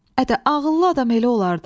Ədə ağıllı adam elə olar da.